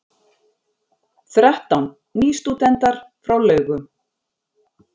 Þrettán nýstúdentar frá Laugum